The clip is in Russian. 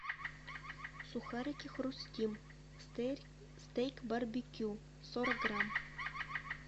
сухарики хрустим стейк барбекю сорок грамм